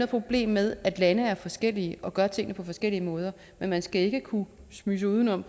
problem med at lande er forskellige og gør tingene på forskellige måder men man skal ikke kunne smyge sig udenom